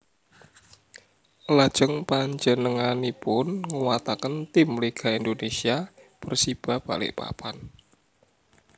Lajeng panjenenganipun nguwataken tim Liga Indonesia Persiba Balikpapan